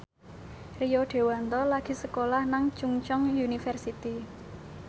Rio Dewanto lagi sekolah nang Chungceong University